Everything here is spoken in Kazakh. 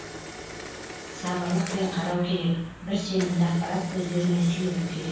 сабырлықпен қарау керек бір сенімді ақпарат көздеріне сүйену керек